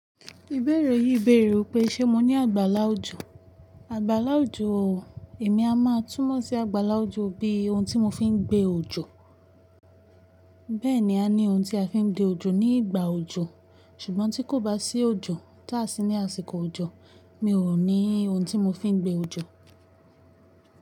Ìbéèrè yìí bèèrè wípé ṣe mo ní àgbàlá òjò? Àgbàlá òjò o, èmi a máa túmọ̀ sí àgbàlá òjò bí ohun tí mo fi ń gbe òjò. Bẹ́ẹ̀ni a ní ohun tí a fi ń gbé òjò ní ìgbà òjò. Ṣùgbọ́n tí kò bá sí òjò, táà sí ní àsìkò òjò, mi ò ní ohun tí mo fi ń gbe òjò.